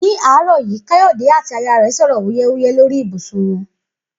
̃Ní àárò̩ yìí. Káyò̩dé àti aya rè̩ sò̩rò̩ wúyé̩wúyé̩ lórí ibùsùn wo̩n